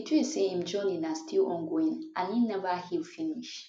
idris say im journey na still ongoing and im never heal finish